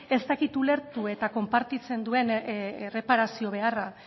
ez dakit ulertu eta konpartitzen duen erreparazio beharra